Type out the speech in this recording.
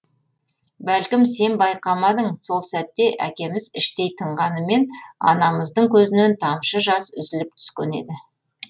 бәлкім сен байқамадың сол сәтте әкеміз іштей тынғанымен анамыздың көзінен тамшы жас үзіліп түскен еді